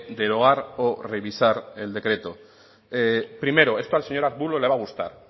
deroga o revisar decreto primero esto al señor arbulo se va gustar